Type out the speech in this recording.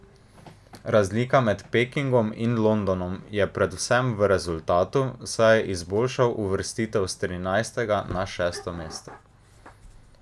Razlika med Pekingom in Londonom je predvsem v rezultatu, saj je izboljšal uvrstitev s trinajstega na šesto mesto.